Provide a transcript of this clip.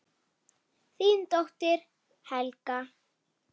Þín dóttir, Helga.